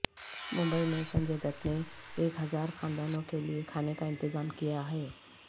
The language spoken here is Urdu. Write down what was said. ممبئی میں سنجے دت نے ایک ہزار خاندانوں کے لئے کھانے کا انتظام کیاہے